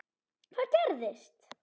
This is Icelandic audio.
Hvað gerist?